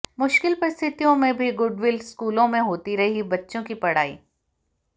मुश्किल परीस्थितियों में भी गुडविल स्कूलों में होती रही बच्चों की पढ़ाई